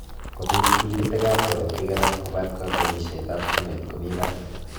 kopit tigitik ab korotik alak kopat kakwenyishet ap stimet komi para